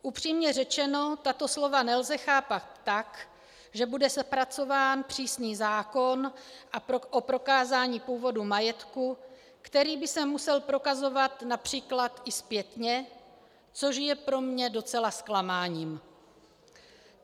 Upřímně řečeno, tato slova nelze chápat tak, že bude zpracován přísný zákon o prokázání původu majetku, který by se musel prokazovat například i zpětně, což je pro mě docela zklamáním.